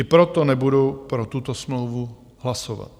I proto nebudu pro tuto smlouvu hlasovat.